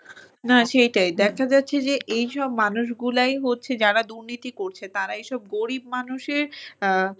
না সেইটাই দেখা যাচ্ছে যে এইসব মানুষগুলাই হচ্ছে যারা দুর্নীতি করছে তারা এইসব গরিব মানুষের